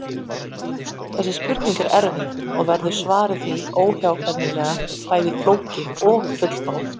Þessi spurning er erfið og verður svarið því óhjákvæmilega bæði flókið og ófullkomið.